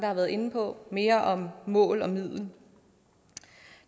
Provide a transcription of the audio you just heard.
har været inde på mere om mål og middel